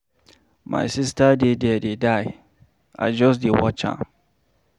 My sister dey there dey die, I just dey watch am.